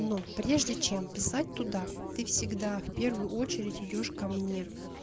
но прежде чем писать туда ты всегда в первую очередь идёшь ко мне